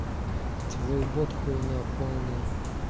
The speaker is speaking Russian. твой бот хуйня полная